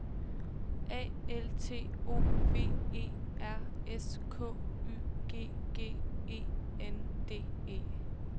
A L T O V E R S K Y G G E N D E